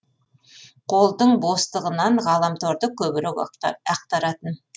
қолдың бостығынан ғаламторды көбірек ақтаратын